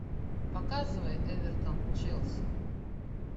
показывай эвертон челси